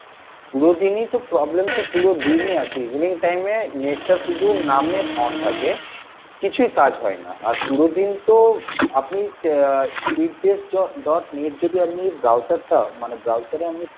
পুরোদিনই তো problem তো পুরোদিনই আছে evening time এ net টা শুধু নামে on থাকে কিছুই কাজ হয়না আর পুরোদিন তো আপনি চা ah speed test dot net যদি আমি browser টা মানে browser এ আমি